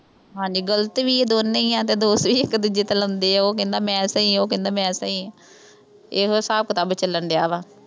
ਹਾਂਜੀ, ਗਲਤ ਵੀ ਇਹ ਦੋਨੇ ਹੀ ਆ। ਤੇ ਦੋਸ਼ ਵੀ ਇਕ-ਦੂਜੇ ਤੇ ਲਾਉਂਦੇ ਆ। ਉਹ ਕਹਿੰਦਾ ਮੈਂ ਸਹੀ ਆਂ, ਉਹ ਕਹਿੰਦਾ ਮੈਂ ਸਹੀ ਆਂ। ਇਹੋ ਹਿਸਾਬ-ਕਿਤਾਬ ਚੱਲਣ ਡਿਆ ਵਾ।